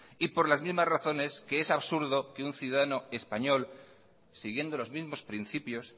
por las mismas razones que es absurdo que un ciudadano español siguiendo los mismos principios